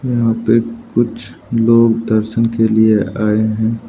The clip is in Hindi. यहां पे कुछ लोग दर्शन के लिए आए हैं।